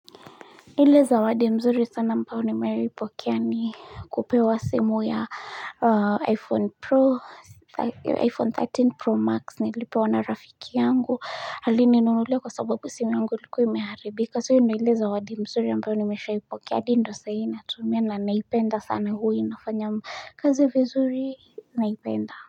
Ile zawadi mzuri sana ambayo nimewahi pokea ni kupewa simu ya iPhone 13 Pro Max nilipewa na rafiki yangu alininunulia kwa sababu simu yangu ilikuwa imeharibika so ndo ile zawadi mzuri ambayo nimeshawahi ipokea hadi ndo sahi natumia na naipenda sana huwa inafanya kazi vizuri naipenda.